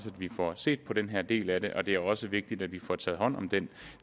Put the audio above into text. vi får set på den her del af det og det er også vigtigt at vi får taget hånd om den